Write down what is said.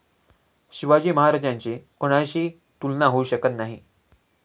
शिवाजी महाराजांची कोणाशी तुलना होऊ शकत नाही.